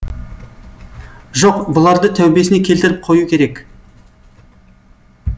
жоқ бұларды тәубесіне келтіріп қою керек